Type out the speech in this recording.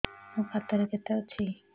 ମୋ ଖାତା ରେ କେତେ ଅଛି